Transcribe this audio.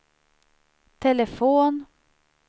telefon